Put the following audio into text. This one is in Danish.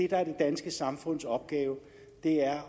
er det danske samfunds opgave er